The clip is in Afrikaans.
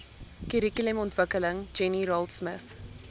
kurrikulumontwikkeling jenny raultsmith